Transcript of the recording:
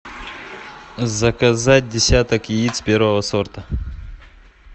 заказать десяток яиц первого сорта